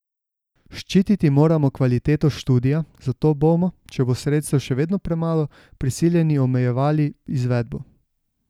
Ščititi moramo kvaliteto študija, zato bomo, če bo sredstev še vedno premalo, prisiljeni omejevali izvedbo.